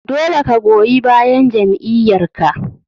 Dole ka goyi bayan jam'iyyar ka.